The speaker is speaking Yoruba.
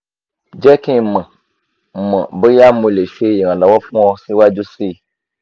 jẹ ki n mọ mọ boya mo le ṣe iranlọwọ fun ọ siwaju sii